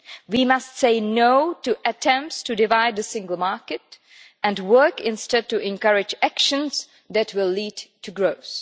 We must say no to attempts to divide the single market, and work instead to encourage measures that will lead to growth.